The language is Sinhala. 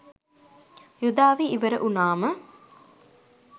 යුධ අවි ඉවර වුණාම